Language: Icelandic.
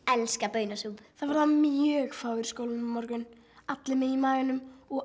elska baunasúpu það verða mjög fáir í skólanum á morgun allir með í maganum og